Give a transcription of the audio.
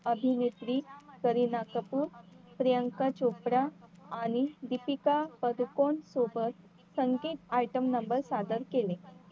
अभिनेत्री करीन कपूर, प्रियांका चोप्रा आणि दीपिका पदुकोण सोबत संकेत item number सादर केले